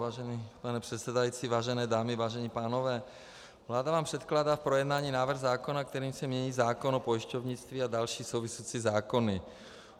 Vážený pane předsedající, vážené dámy, vážení pánové, vláda vám předkládá k projednání návrh zákona, kterým se mění zákon o pojišťovnictví a další související zákony.